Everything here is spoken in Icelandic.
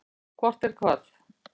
Hvort er hvað?